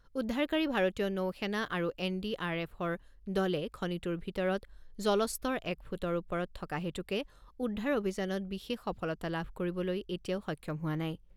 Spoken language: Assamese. উদ্ধাৰকাৰী ভাৰতীয় নৌ সেনা আৰু এন ডি আৰ এফৰ দলে খনিটোৰ ভিতৰত জলস্তৰ এক ফুটৰ ওপৰত থকা হেতুকে উদ্ধাৰ অভিযানত বিশেষ সফলতা লাভ কৰিবলৈ এতিয়াও সক্ষম হোৱা নাই।